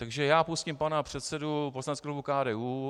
Takže já pustím pana předsedu poslaneckého klubu KDU.